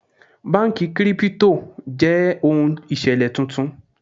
Báńkì Kírípútò jẹ́ ohun ìṣẹ̀lẹ̀ tuntun.